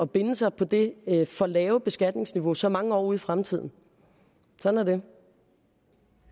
binde sig på det for lave beskatningsniveau så mange år ud i fremtiden sådan